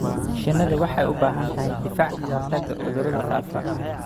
Shinnidu waxay u baahan tahay difaac ka hortagga cudurrada faafa.